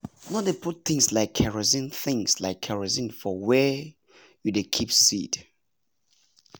no dey put things like kerosene things like kerosene for wer you dey keep seed